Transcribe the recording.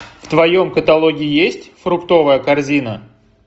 в твоем каталоге есть фруктовая корзина